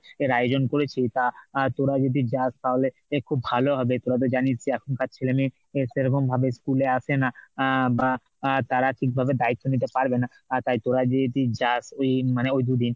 আয়োজন করেছি তা তোরা যদি যাস তাহলে খুব ভালো হবে, তোরা তো জানিস যে এখনকার ছেলে মেয়ে সেরকমভাবে school এ আসে না বা তারা ঠিকভাবে দায়িত্ব নিতে পারবে না তাই তোরা যদি যাস ওই মানে ওই দুদিন